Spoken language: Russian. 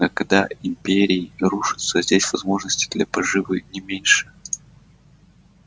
но когда империи рушатся здесь возможности для поживы не меньше